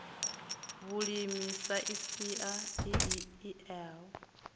vhulimi sa sia i eaho